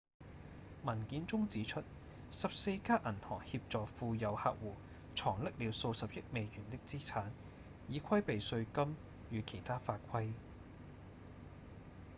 文件中指出14家銀行協助富有客戶藏匿了數十億美元的資產以規避稅金與其他法規